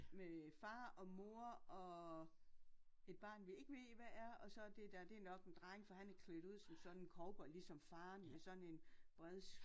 Med far og mor og et barn vi ikke ved hvad er og så dét der det nok en dreng for han er klædt ud som sådan en cowboy ligesom faren med sådan en bred